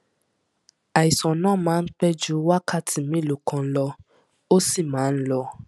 àìsàn náà máa ń pẹ ju wákàtí mélòó kan lọ ó sì máa ń lọ